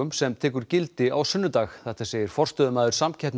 sem tekur gildi á sunnudag þetta segir forstöðumaður